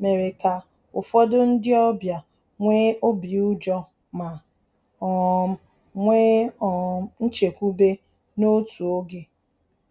mere ka ụfọdụ ndị ọbịa nwee obi ụjọ ma um nwee um nchekwube n’otu oge